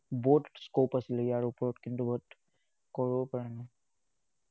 বহুত scope আছিলে ইয়াৰ ওপৰত, কিন্তু, বহুত কৰিব পাৰা নাই।